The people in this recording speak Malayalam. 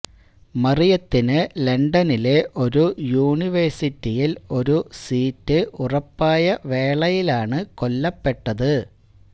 മറിയത്തിന് ലണ്ടനിലെ ഒരു യൂണിവേഴ്സിറ്റിയിൽ ഒരു സീറ്റ് ഉറപ്പായ വേളയിലാണ് കൊല്ലപ്പെട്ടത്